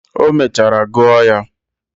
Omechara gbuo ya?